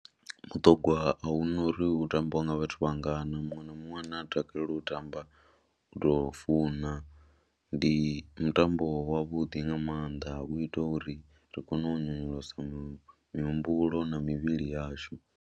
Mutogwa a hu na uri u tambiwa nga vhathu vha ngana muṅwe na muṅwe ane a takalela u tamba u tou funa, ndi mutambo wavhuḓi nga maanḓa u itela uri ri kone u nyonyolosa mihumbulo na mivhili yashu.